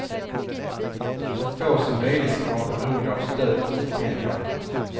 Så få som möjligt ska vara beroende av stöd och stipendier.